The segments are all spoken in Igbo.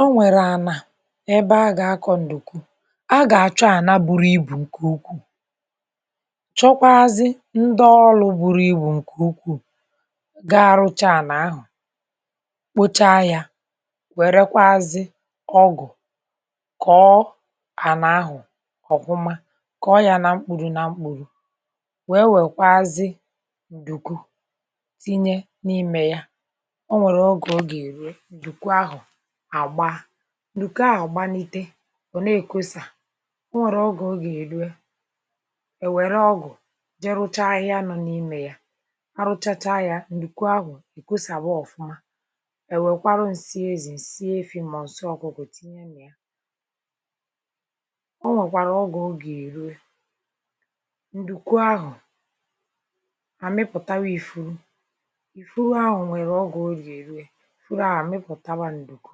ọ̀ nwèrè àná ebe agà-àkó̇ ǹdùkù agà-àchụ àná bùrù ibù ǹké ukwuù chọ̀kwàazị ndị ọlụ̇ bùrù ibù ǹké ukwuù gà-rụ́chá àná ahụ̀ kpochá ya, wèrèkwàazị ọgụ̀ kọ́ọ àná ahụ̀ ọ̀hụ́ma kọ́ọ ya nà mkpòrò nà mkpòrò, wéé wèkwàazị ǹdùkù tìnyé n’ímė ya, ọ̀ wèrè oge ọ gà-èrúwé ǹdùkù ahụ̀ àgbàá, ǹdùkù ahụ̀ gbàlite ọ n’èkósà, ò nwèrè ọ̀gà ọ gà-èrúwé é wèrè ọgụ̀ jé rụ́chá ahịhịa nọ n’ímė ya hà rụ́chácha ya, ǹdùkù ahụ̀ ìkùsàwà ọ̀fụ́ma é wèkwàrù ǹsị èzì, ǹsị ẹ̀fí̇ màọbụ̀ ǹsị ọkụ́kọ̀ tìnyé nà ya ọ̀ nwèkwàrạ ọ̀gà ọ gà-èrúwé ǹdùkù ahụ̀ àmị̀pụ̀tàwà ífùrù, ífùrù ahụ̀ nwèrè ọ̀gà ọ gà-èrúwéwé ífùrù ahụ̀ àmị̀pụ̀tàwà ǹdùkù,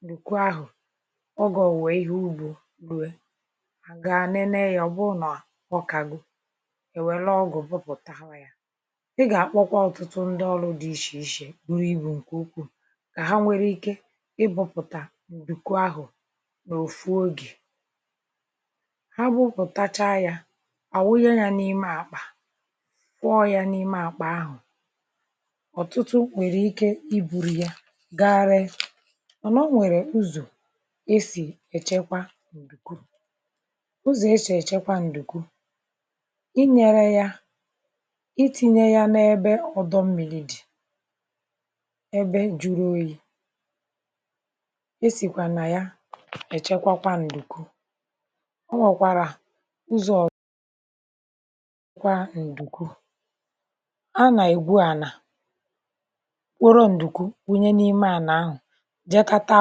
ǹdùkù àhụ̀ ọ̀gà ò nwèwè ìhè ùgbȯ rùó àgà ànènè yá, ọ̀ bùrù nà ọ kàgó éwèrè ọgụ̀ bùpụ̀tàwà yá, ị̀ gà-àkpọ̀kwà ọ̀tụ́tụ́ ndị ọlụ̀ dị ishe-ishe bùrù ibù ǹké ukwuù kà hà nwèrè ìké ịbọ̇pụ̀tà ǹdùkù ahụ̀ n’òfù oge hà bù̇pụ̀táchà yá à wùnyé yá n’ímé àkpà, kwọ́ọ̇ yá n’ímé àkpà ahụ̀ ọ̀tụ́tụ́ nwèrè ìké ì bùrù yá gà-rèe, màná ọ̀ nwèrè ụ̀zụ̀ è sị èchèkwà ǹdùkù, ụzọ̀ èsè èchèkwà ǹdùkù ínyèrè ya, ìtì̇nyè ya n’ebe ọ̀dọ̀ mmírí̇ dì n’ebe júrù òyì̇ èsìkwà nà ya èchèkwàkwà ǹdùkù. ọ̀ nwèkwàrạ ụzọ̀ kwà ǹdùkù, à nà ègbu àná kọ̀rọ̀ ǹdùkù wùnyé n’ímé àná ahụ̀, jèé kátà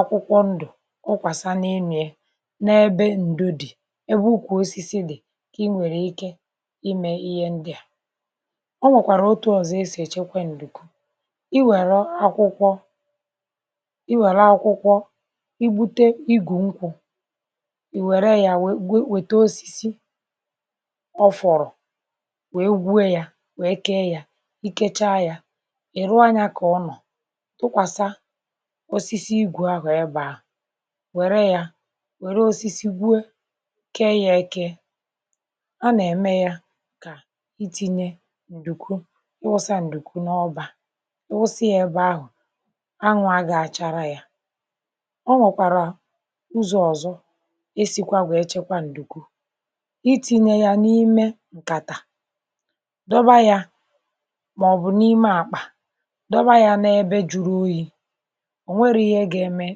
àkwụ̀kwọ̀ ǹdù ùkwàsa n’ímė n’ebe ǹdù dị̀, ebe ụ̀kwù òsìsì dị̀ kà ị nwèrè ìké ímé ìhè ndị à. ọ̀ nwèkwàrạ òtù̇ ọ̀zọ̀ è sịkwà èchèkwè ǹdùkù í wèrè àkwụ̀kwọ̀, í wèrè àkwụ̀kwọ̀ í bùté ígù nkwụ̇, í wèrè ya wéé wéé wèté òsìsì ọ̀ fọrọ̀ wéé gwúé yá wéé kéé yá, í kéchá yá é rúó ànyá kà ùnọ̀ tụ̀kwàsà òsìsì ígù ahụ̀ ebe ahụ̀, wèrè ya wèrè òsìsì gbúò kéé ya, ékè à nà-ème ya kà ìtì̇nyé ǹdùkù í wùsà ǹdùkù n’ọba, í wùsíà ebe ahụ̀ ànwà à gà-àchárà ya. ọ̀ nwèkwàrạ ụzọ̇ ọ̀zọ̀ èsịkwà nwèé chèkwà ǹdùkù, ìtì̇nyé ya n’ímé ǹkàtà, dòbà ya màọbụ̀ n’ímé àkpà, dòbà ya n’ebe júrù òyì̇, ònwèrò ìhè gà-ème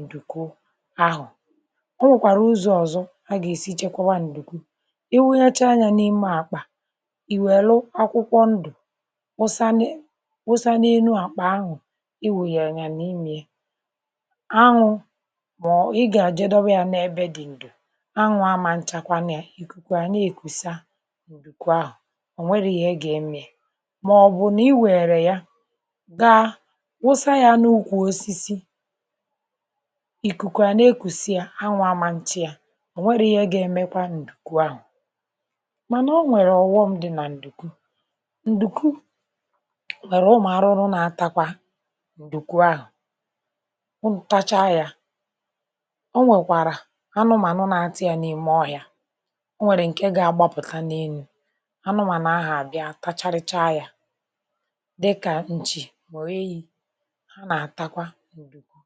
ǹdùkù ahụ̀. ọ̀ nwèkwàrạ ụzọ̇ ọ̀zọ̀ hà gà-èsí chèkwàwà ǹdùkù, ìwùghàcháá yá n’ímé àkpà, ìwèlù àkwụ̀kwọ̀ ndú̀ wùsà n’énu àkpà ahụ̀, í nwùnyé ya n’ímė ànwà, mà ọ̀ í gà-èjé dòbà yá n’ebe dị̀ ǹdù, ànwà àmà n̄chàkwà nụ́ ya, ìkùkù à nà-èkùsà ǹdùkù ahụ̀ ò nwèrè íhè gà-ème yá, mà ọ̀ bụ̀ nà í wèrèrè ya gàà wùsà yá n’ùkwù òsìsì ìkùkù à nà-èkùsà ya, ànwà àmȧ chá ya, ọ̀ nwèrè ìhè gà-èmèkwà ǹdùkù ahụ̀, màná ọ̀ nwẹ̀rẹ̀ ọ̀ghọ̀m dị̀ nà ǹdùkù, ǹdùkù nwèrè ụmụ̀ àrụ̀rụ̀ nà-átàkwà ǹdùkù ahụ̀, ụ̀nụ̀ táchà ya, ọ̀ nwèkwàrạ ànụ̀mànụ̀ nà-átà ya n’ímé ọhị̇á, ọ̀ nwẹ̀rẹ̀ ǹké gà-àgbàpụ̀tà n’ényo ànụ̀mànụ̀ ahụ̀ àbìá tachárịchá ya, dị̀kà ǹchì màọbụ̀ ènyì hà nà-átàkwà ǹdùkù.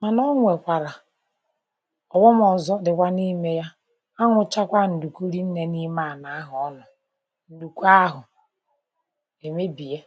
màná ò wékwàrạ ọ̀ghọ̀m òzò dị̀wà n’ímė ya, ànwàchàkwà ǹdùkù rìí nné n’ímé àná ahụ̀, ọ̀nụ̀ ǹdùkù ahụ̀ èmébià.